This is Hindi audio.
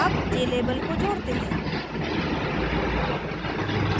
add jlabel को जोडते हैं